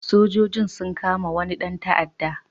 Sojojin sun kama wani ɗan ta'adda.